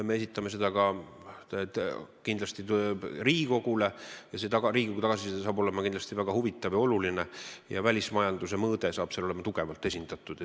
Me esitame selle ka Riigikogule ja see Riigikogu tagasiside tuleb kindlasti väga huvitav ja oluline ning välismajandusmõõde on seal tugevalt esindatud.